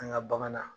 An ka bagan na